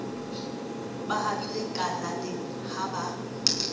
ba habile kalaneng ha ba